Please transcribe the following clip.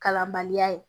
Kalanbaliya ye